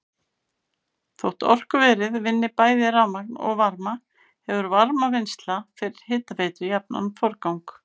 Þótt orkuverið vinni bæði rafmagn og varma hefur varmavinnsla fyrir hitaveitu jafnan forgang.